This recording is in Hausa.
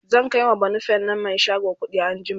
zan kaiwa banufen nan Mai shago kuɗi anjima